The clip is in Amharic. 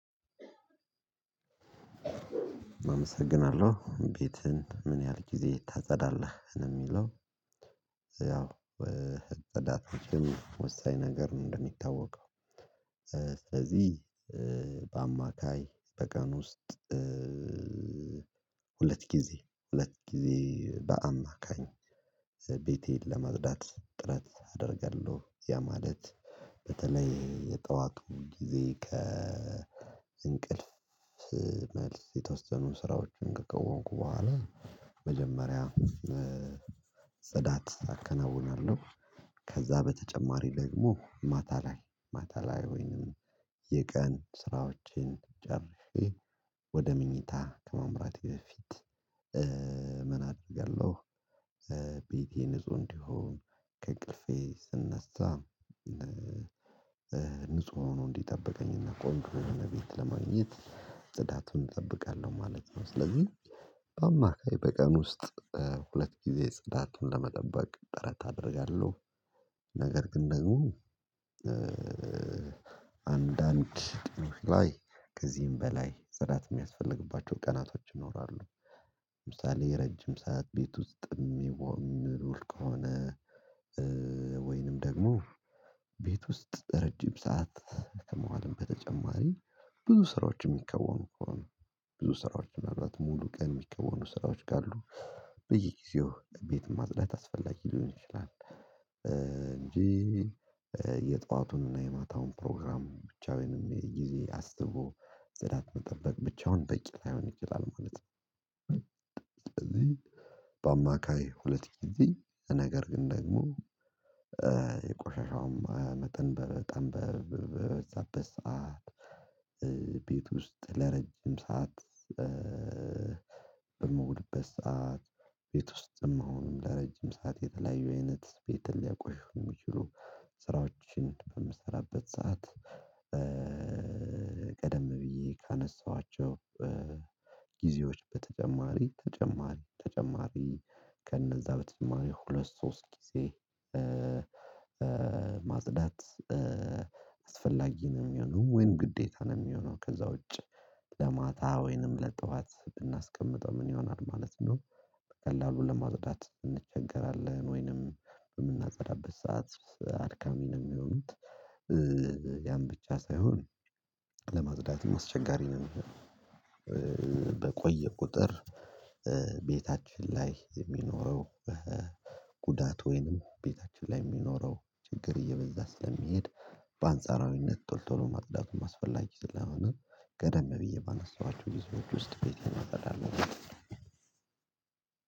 አመሰግናለሁ ቤትህን ምን ያህል ጊዜ ታጸዳለህ ነው የሚለው? ያው እጥዳት ይሄን ወሳኝ ነገር ነው እንደሚታወቀው እዚህ በአማካይ በቀን ውስጥ ሁለት ጊዜ ሁለት ጊዜ በአማካኝ ቤቴን ለመግደል ጥረት አደርጋለሁ ያ ማለት በተለይ የጠዋቅሙ ጊዜ ከእንቅልፍ መልስ የተወሰኑ ስራዎችን ከቆየንኩ በኋላ መጀመሪያ ጽዳት አከናውናለሁ። ከዛ በተጨማሪ ደግሞ ማታ ላይ ማታ ላይ ወይንም የቀን ስራዎቼን ጨርሼ ወደ ምኞታ ከመምራቴ በፊት ምን አደርጋለሁ? ቤቴ ንጹህ እንዲሆን ከእቅልፌ ስነሳ ንጹህ ሆኖ እንዲጠበቀኝና ቆንጆ በሆነ ቤት ለማግኘት ጽዳትን እጠብቃለሁ ማለት ነው። ስለዚህ በአማራጭ በቀን ውስጥ ሁለት ጊዜ ጽዳትን ለመጠበቅ ጥረት አደርጋለሁ ነገር ግን ነው አንዳንድ ላይ ከዚህም በላይ ጽዳት የሚያስፈልግባቸው ቀናቶች ይኖራሉ። ለምሳሌ የረጅም ሰዓት ቤት ውስጥም ይወርቅ ከሆነ ወይንም ደግሞ ቤት ውስጥ ረጅም ሰዓት ከመዋልም በተጨማሪ ብዙ ስራዎችን የሚከወኑ ከሆነ ብዙ ስራዎች ምናልባት ሙሉ ቀን የሚከወኑ ስራዎች ጋር አሉ በየጊዜው ቤት ማጽዳት አስፈላጊ ሊሆን ይችላል። እንጂ የጧቱንና የማታውን ፕሮግራም ብቻውንም የጊዜ አስቦ ዘዳት መጠበቅ ብቻውን ጠቂ ላይሆን ይችላል ማለት ነው። በአማካይ ሁለት ጊዜ ነገር ግን ደግሞ የቆሻሻውም መጠን በጣም በዛበት ሰዓት ቤት ውስጥ ለረጅም ሰዓት በመውደበት ሰዓት ቤት ውስጥም መሆኑንም ለረጅም ሰዓት የተለያዩ አይነት ቤት ሊያቆሽም የሚችሉ ስራዎችን በምሰራበት ሰዓት። ቀደም ብዬ ካነሳኋቸው ጊዜዎች በተጨማሪ ተጨማሪ ተጨማሪ ከነዛ በተጨማሪ ሁለት ሶስት ጊዜ ማጽዳት አስፈላጊ ነው የሚሆነው ወይም ግዴታ ነው የሚሆነው። ከዛ ውጪ ለማታ ወይንም ለጠዋት ብናስቀምጠው ምን ይሆናል ማለት ነው በቀላሉ ለማጥዳት እንቸገራለን ወይንም የምናጸዳበት ሰዓት አልካሚ ነው የሚሆኑት ያን ብቻ ሳይሆን ለማግዳት አስቸጋሪ ነው። በቆየ ቁጥር ቤታችን ላይ የሚኖረው ጉዳት ወይንም ቤታችን ላይ የሚኖረው ችግር እየበዛ ስለሚሄድ በአንጻራዊነት ቶሎ ቶሎ ማጽዳቱን ማስፈላጊት ስለሆነ ገደም ብዬ ባነሳኋችሁ የዚህ ሰዎች ውስጥ ቤት የማበዳለት